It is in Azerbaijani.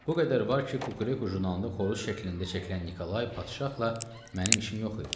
Bu qədər var ki, Kukureku jurnalında xoruz şəklində çəkilən Nikolay padşahla mənim işim yox idi.